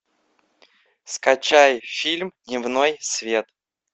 скачай фильм дневной свет